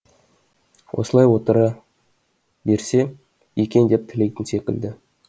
осылай отыра берсе екен деп тілейтін секілді